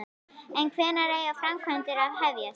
En hvenær eiga framkvæmdir að hefjast?